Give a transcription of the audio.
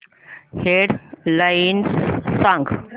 head lines सांग